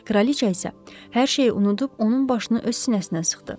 Kraliçə isə hər şeyi unudub onun başını öz sinəsinə sıxdı.